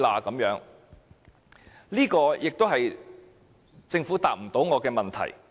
這也是政府無法答覆我的問題。